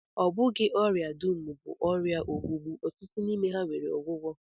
Ọ bụghị ọrịa dum bụ ọrịa ogbugbu, ọtụtụ n'ime ha nwere ọgwụgwọ